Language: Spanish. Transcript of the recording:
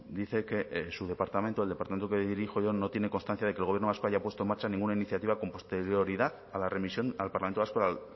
dice que su departamento el departamento que dirijo yo no tiene constancia de que el gobierno vasco haya puesto en marcha ninguna iniciativa con posterioridad a la remisión al parlamento vasco